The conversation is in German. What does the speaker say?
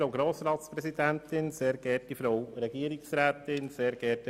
Auf das Steuergesetz sei nicht einzutreten.